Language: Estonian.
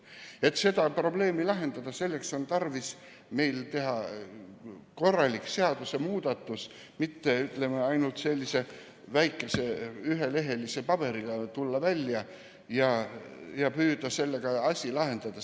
Selleks, et seda probleemi lahendada, on tarvis meil teha korralik seadusemuudatus, mitte tulla ainult sellise väikese ühelehelise paberiga välja ja püüda sellega asja lahendada.